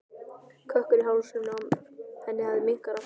Kökkurinn í hálsinum á henni hafði minnkað aftur.